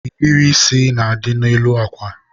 nhiri isi na-adị n'elu akwa.